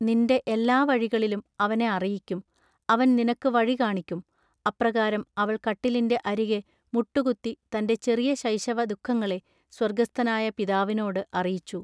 നിന്റെ എല്ലാ വഴികളിലും അവനെ അറിയിക്കും അവൻ നിനക്കു വഴി കാണിക്കും" അപ്രകാരം അവൾ കട്ടിലിന്റെ അരികെ മുട്ടുകത്തി തന്റെ ചെറിയ ശൈശവ ദുഃഖങ്ങളെ സ്വർഗ്ഗസ്ഥനായ പിതാവിനോടു അറിയിച്ചു.